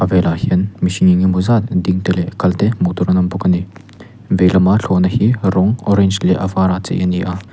velah hian mihring eng emaw zat ding te leh kal te hmuh tur an awm bawk a ni vei lamah thlawhna hi rawng orange leh vara chei a ni a.